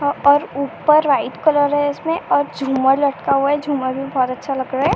और और ऊपर व्हाइट कलर है इसमे और झूमर लटका हुआ है। झूमर भी बहुत अच्छा लग रहा है।